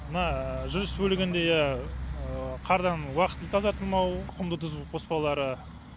мына жүріс бөлігінде ия қардан уақытылы тазартылмау құмды тұзды қоспаулары